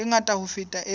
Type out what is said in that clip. e ngata ho feta e